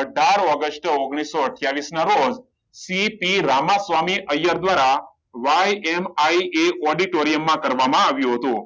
અઢાર ઓગસ્ટ ઓગણીસો અઠ્યાવીસ ના રોજ સી. પી રામ સ્વામી અય્યર દ્વારા YMIA ઓડિટોરિયમ માં આવ્યું હતું